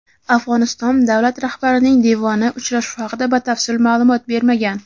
Afg‘oniston davlat rahbarining devoni uchrashuv haqida batafsil ma’lumot bermagan.